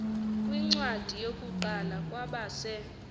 kwincwadi yokuqala kwabase